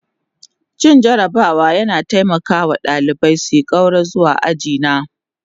Cin jarabawa yana taimaka wa ɗalibai su ƙaura zuwa aji na